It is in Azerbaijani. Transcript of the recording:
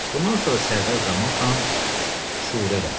Bundan sonra Sərdar Zamanxan şuru elədi.